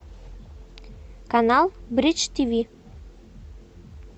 канал бридж тв